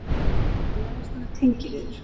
Hún er eins konar tengiliður.